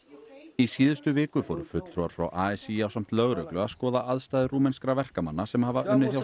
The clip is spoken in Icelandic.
í síðustu viku fóru fulltrúar frá a s í ásamt lögreglu að skoða aðstæður rúmenskra verkamanna sem hafa unnið hjá